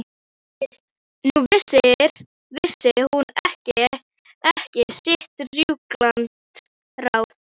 Nú vissi hún ekki sitt rjúkandi ráð.